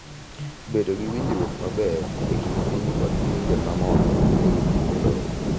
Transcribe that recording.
Bedo gi winjruok maber e kind piny kod pinje ma moko e wi ndiko lowo.